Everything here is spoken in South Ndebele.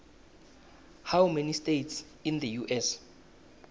how many states in the us